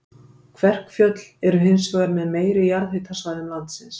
Kverkfjöll eru hins vegar með meiri jarðhitasvæðum landsins.